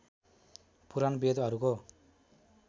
पुराण वेदहरूको